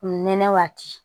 Nɛnɛ waati